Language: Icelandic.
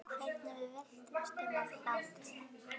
Hvernig við veltumst um af hlátri.